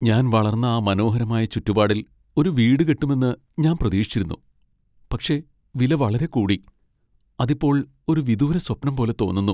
ഞാൻ വളർന്ന ആ മനോഹരമായ ചുറ്റുപാടിൽ ഒരു വീട് കിട്ടുമെന്ന് ഞാൻ പ്രതീക്ഷിച്ചിരുന്നു, പക്ഷേ വില വളരെ കൂടി , അത് ഇപ്പോൾ ഒരു വിദൂര സ്വപ്നം പോലെ തോന്നുന്നു.